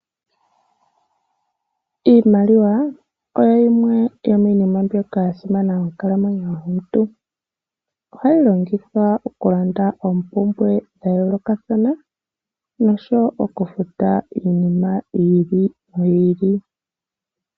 Iimaliwa oyo yimwe yomiina mbyoka ya simana monkalamwenyo yomuntu. Ohayi longithwa okulanda oompumbwe dha yoolokathana nosho wo okufuta iinima yi ili noyi ili.